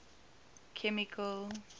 chemical